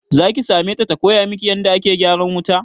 Zaki same ta ta koya miki yanda ake gyaran wuta?